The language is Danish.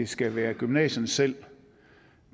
skal være gymnasierne selv